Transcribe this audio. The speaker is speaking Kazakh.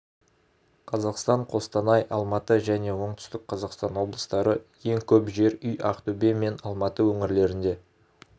қазақстан қостанай алматы және оңтүстік қазақстан облыстары ең көп жер үй ақтөбе мен алматы өңірлерінде